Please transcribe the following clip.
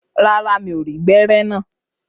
Rárá, mi ò rí gbẹ́rẹ́ naa.